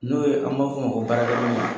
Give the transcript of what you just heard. N'o ye an b'a f'ɔ ma baarakɛ minɛn